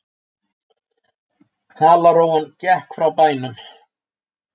Halarófan gekk frá bænum.